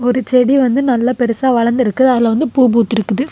ஒரு செடி வந்து நல்ல பெருசா வளர்ந்துருக்கு அதுல வந்து பூ பூத்துருக்குது.